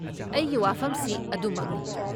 ꯑꯩꯒꯤ ꯋꯥꯐꯝꯁꯤ ꯑꯗꯨꯃꯛꯅꯤ ꯫